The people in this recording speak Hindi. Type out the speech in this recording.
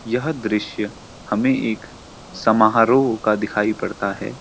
यह दृश्‍य हमें एक समारोह का दिखाई पड़ता है।